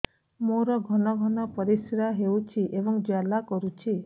ମୋର ଘନ ଘନ ପରିଶ୍ରା ହେଉଛି ଏବଂ ଜ୍ୱାଳା କରୁଛି